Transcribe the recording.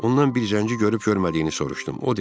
Ondan bir zəngini görüb-görmədiyini soruşdum.